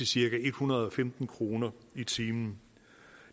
cirka en hundrede og femten kroner i timen